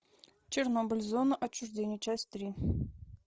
чернобыль зона отчуждения часть три